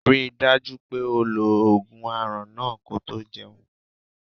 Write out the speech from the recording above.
Ri dájú pé o lo ogun aràn náà ko tó jẹun.